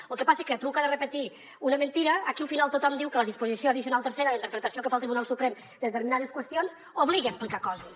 lo que passa que a truca de repetir una mentida aquí al final tothom diu que la disposició addicional tercera la interpretació que fa el tribunal suprem de determinades qüestions obliga a explicar coses